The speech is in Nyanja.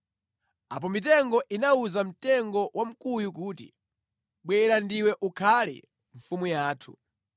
Apo mitengo inawuza mtengo wa mkuyu kuti, “Bwera ndiwe ukhale mfumu yathu.”